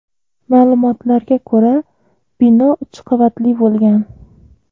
Ma’lumotlarga ko‘ra , bino uch qavatli bo‘lgan.